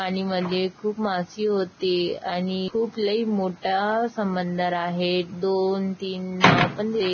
पाणीमध्ये खुप माशी होते आणि खुप लय मोठा समंदर आहे दोन तीन नाव पण दि--